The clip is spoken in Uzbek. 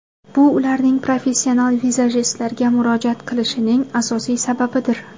Bu ularning professional vizajistlarga murojaat qilishining asosiy sababidir.